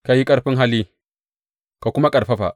Ka yi ƙarfin hali ka kuma ƙarfafa.